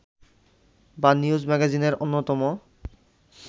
বা নিউজ ম্যাগাজিনের অন্যতম